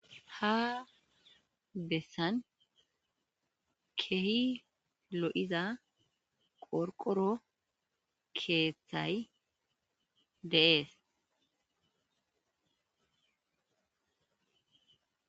ha bessan kehi lo7iza qorqoro keeththay deees